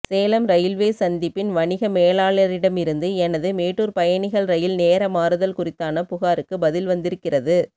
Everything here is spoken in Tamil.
சேலம் ரயில்வே சந்திப்பின் வணிக மேலாளரிடமிருந்து எனது மேட்டூர் பயணிகள் ரயில் நேரமாறுதல் குறித்தான புகாருக்கு பதில் வந்திருக்கிறது